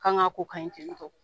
Kan ka ko ka ɲi ten tɔ.